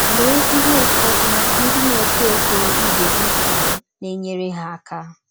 Lee ihe ụfọdụ ndị na - etọ etọ ibe gị kwụrụ na - enyere ha aka.